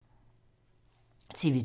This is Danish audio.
TV 2